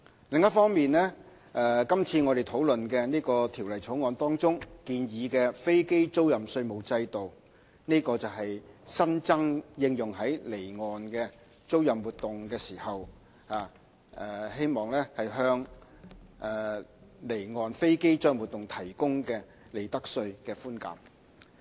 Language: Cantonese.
另一方面，今次討論的《條例草案》中建議的飛機租賃稅務制度，是新增的，應用於離岸租賃活動，希望向離岸飛機租賃活動提供利得稅寬減。